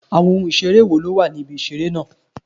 Àwọn ohun ìṣeré wo ló wà ní ibi ìṣeré náà?